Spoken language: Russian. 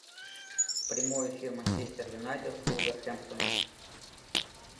прямой эфир манчестер юнайтед с вулверхэмптоном